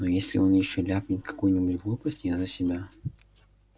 но если он ещё ляпнет какую-нибудь глупость я за себя